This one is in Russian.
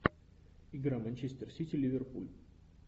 игра манчестер сити ливерпуль